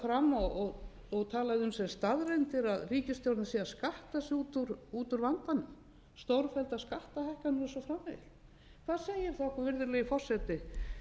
fram og talað um sem staðreyndir að ríkisstjórnin sé að skatta sig út úr vandanum stórfelldar skattahækkanir og svo framvegis hvað segir það okkur virðulegi forseti